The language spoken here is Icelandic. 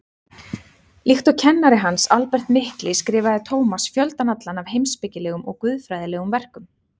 Líkt og kennari hans, Albert mikli, skrifaði Tómas fjöldann allan af heimspekilegum og guðfræðilegum verkum.